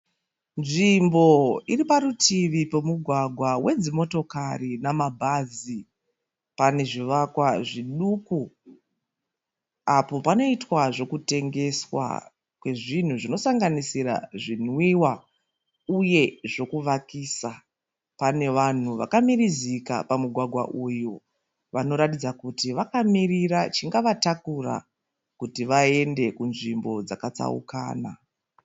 Nzvimbo iri parutivi pemugwagwa wedzi motakari namabhazi. Pane zvivakwa zviduku apo panoitwa zvekutengeswa kwezvinhu zvinosanganisira zvinwiwa uye zvekuvakisa. Pane vanhu vakamirizika pamugwagwa uyu vanoratidza kuti vakamirira chingavatakura kuti vaende kunzvimbo dzaka tsaukana.